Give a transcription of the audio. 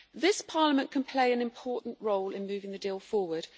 This Parliament can play an important role in moving the deal forward.